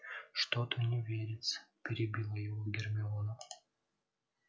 что-то не верится перебила его гермиона